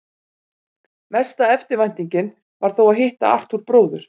Mesta eftirvæntingin var þó að hitta Arthúr bróður.